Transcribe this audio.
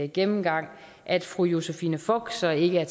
gennemgang at fru josephine fock så ikke er